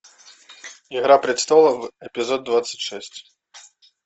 игра престолов эпизод двадцать шесть